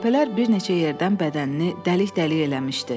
Qəlpələr bir neçə yerdən bədənini dəlik-dəlik eləmişdi.